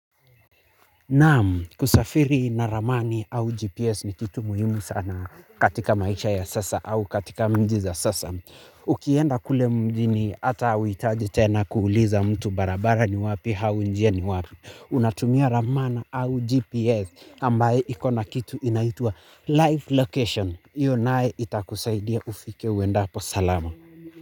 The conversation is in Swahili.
Naam, kusafiri na ramani au GPS ni kitu muhimu sana katika maisha ya sasa au katika mji za sasa. Ukienda kule mjini ata hauitaji tena kuuliza mtu barabara ni wapi hau njia ni wapi. Unatumia ramana au GPS ambaye iko na kitu inaitwa live location. Iyo nae itakusaidia ufike uendapo salama.